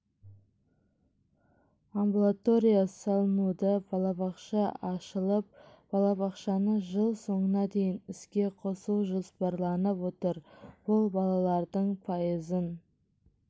амбулатория салынуда балабақша ашылып балабақшаны жыл соңына дейін іске қосу жоспарланып отыр бұл балалардың пайызын